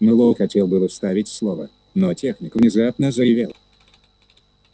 мэллоу хотел было вставить слово но техник внезапно заревел